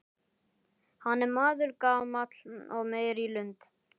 Hann er maður gamall og meyr í lund.